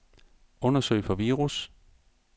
Undersøg for virus.